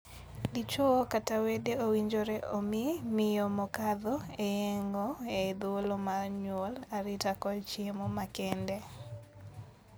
Dichwo kata wede owinjore omii miyo mokadho e yeng'o e thuolo mar nyuol arita kod chiemo makende.